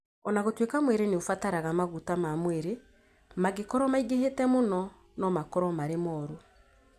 O na gũtuĩka mwĩrĩ nĩ ũbataraga maguta ma mwĩrĩ, mangĩkorũo maingĩhĩte mũno no makorũo marĩ mũru.